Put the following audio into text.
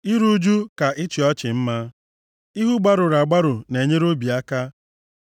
Iru ụjụ ka ịchị ọchị mma, ihu gbarụrụ agbarụ na-enyere obi aka